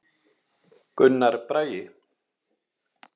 Gunnar Bragi.